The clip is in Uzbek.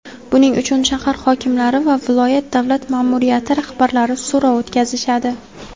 Buning uchun shahar hokimlari va viloyat davlat ma’muriyati rahbarlari so‘rov o‘tkazishadi.